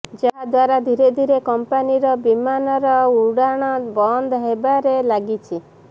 ଯାହା ଦ୍ୱାରା ଧୀରେ ଧୀରେ କମ୍ପାନୀର ବିମାନର ଉଡ଼ାଣ ବନ୍ଦ ହେବାରେ ଲାଗିଛି